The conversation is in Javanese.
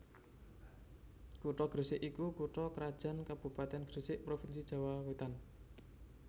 Kutha Gresik iku kutha krajan kabupatèn Gresik provinsi Jawa Wetan